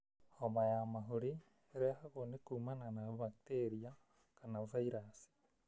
Homa ya mahũri ĩrehagwo nĩ kũumana na bakiteria kana vairaci.